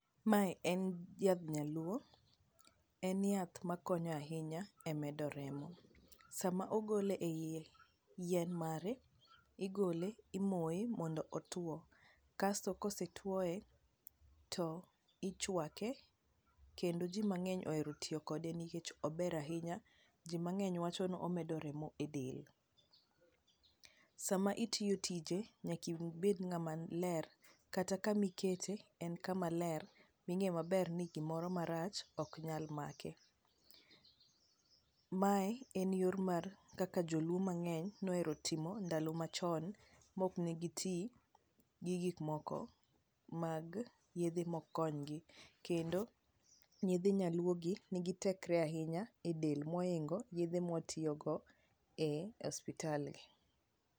mae en yadh nyaluo en yath ma konyo ahinya e medo remo ,sama ogole e yien mare, igole omoye mondo otuo, kasto kosetuoye to ichuake kendo ji mang'eny ohero tiyo kode nikech ober ahinya, ji mangeny wacho ni omedo remo e edel ,sama itimo tije nyaka ibed ngama ler ,kata kama ikete en kama ler minge maber ni onge gimoro marach ok nyal make , mae en yor mar kaka joluo mang'eny nohero timo ndalo machon mok ne gi ti gi gik moko mag yedhe mok kony gi kendo yedhe nyaluo gi tekre ahinya e del mohingo yedhe mwa tiyo go e hospital gi